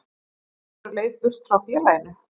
Eru þeir á leið burt frá félaginu?